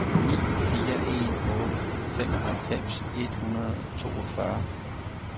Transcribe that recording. ni fire en otte femoghalvfems et hundrede og toogfyrre